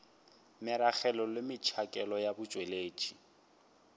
meragelo le metšhakelo ya botšweletši